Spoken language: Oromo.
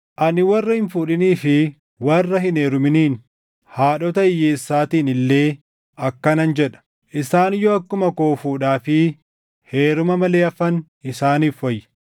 Ani warra hin fuudhinii fi warra hin heeruminiin, haadhota hiyyeessaatiin illee akkanan jedha: Isaan yoo akkuma koo fuudhaa fi heeruma malee hafan isaaniif wayya.